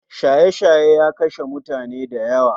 Shaye shaye ya kashe mutani dayawa